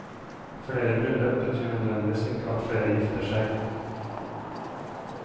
Flere bryllup betyr nødvendigvis ikke at flere gifter seg.